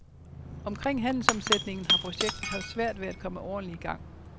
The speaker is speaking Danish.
Omkring handelsomsætningen har projektet haft svært ved at komme ordentlig i gang.